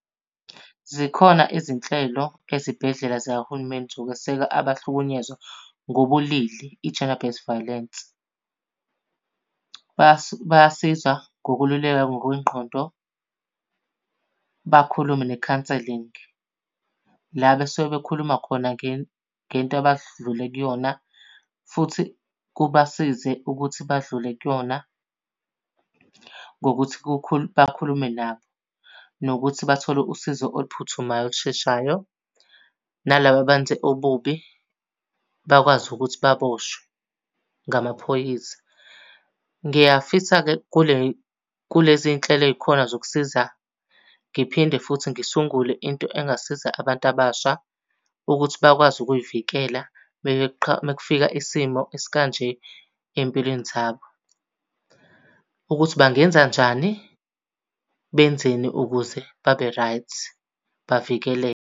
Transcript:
Zikhona izinhlelo ezibhedlela zikahulumeni zokweseka abahlukunyezwa ngobulili, i-Gender-based violence. Bayasiza ngokululeka ngokwengqondo, bakhulume nekhanselingi. La besuke bekhuluma khona ngento abadlule kuyona futhi kubasize ukuthi badlule kuyona ngokuthi bakhulume nabo. Nokuthi bathole usizo oluphuthumayo olusheshayo, nalaba abenze ububi bakwazi ukuthi baboshwe ngamaphoyisa. Ngiyafisa-ke kulezi nhlelo ey'khona zokusiza, ngiphinde futhi ngisungule into engasiza abantu abasha ukuthi bakwazi ukuy'vikela uma kufika isimo esikanje ey'mpilweni zabo. Ukuthi bangenzanjani, benzeni ukuze babe-right bavikeleke.